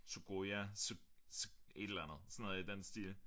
Sugoja su su et eller andet sådan noget i den stil